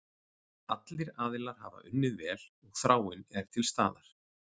Allir aðilar hafa unnið vel og þráin er til staðar.